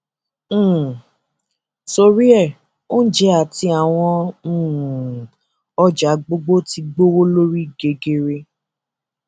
um torí ẹ oúnjẹ àti àwọn um ọjà gbogbo ti gbówọ lórí gegere